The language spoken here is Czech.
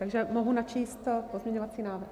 Takže mohu načíst pozměňovací návrh?